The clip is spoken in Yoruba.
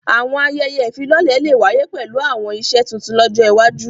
Àwọn àyẹyẹ ifilọlẹ le wàye pẹlu àwọn iṣe tuntun lọjọ iwaju.